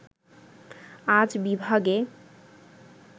আজ বিভাগে